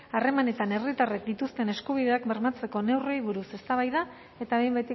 harremanetan herritarrek dituzten eskubideak bermatzeko neurriei buruz eztabaida eta behin